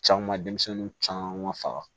Caman denmisɛnnin caman faga